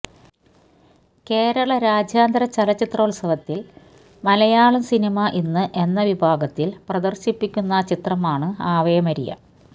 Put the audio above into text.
കേരള രാജ്യാന്തര ചലച്ചിത്രോത്സവത്തില് മലയാളം സിനിമ ഇന്ന് എന്ന വിഭാഗത്തില് പ്രദര്ശിപ്പിക്കുന്ന ചിത്രമാണ് ആവേ മരിയ